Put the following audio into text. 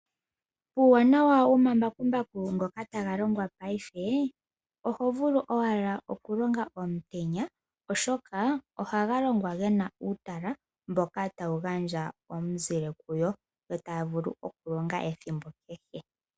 Uuwanawa womambakumbaku ngoka taga longwa ngaashingeyi oho vulu owala okulonga omutenya oshoka ohaga longwa ge na uutala mboka tawu gandja omuzile kuyo eta ya vulu okulonga ethimbo kehe.